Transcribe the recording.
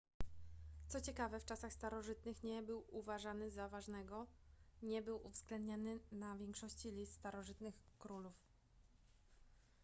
co ciekawe w czasach starożytnych nie był uważany za ważnego nie był uwzględniany na większości list starożytnych królów